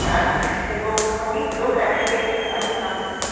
church এবং অনেক লোক একসাথে এখানে প্রার্থনা করতে পার --